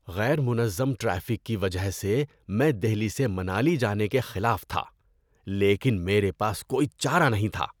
غیر منظم ٹریفک کی وجہ سے میں دہلی سے منالی جانے کے خلاف تھا، لیکن میرے پاس کوئی چارہ نہیں تھا۔